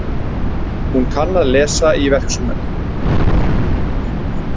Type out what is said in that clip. Hún kann að lesa í verksummerkin.